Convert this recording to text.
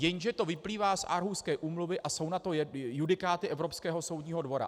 Jenže to vyplývá z Aarhuské úmluvy a jsou na to judikáty Evropského soudního dvora.